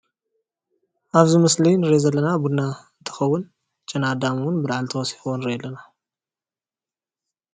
ኣብዚ ምስሊ ንሪኦ ዘለና ቡና ትኸውን ጨና ኣዳም እውን ብርሃን ተወሲኽዎ ንርኢ ኣለና።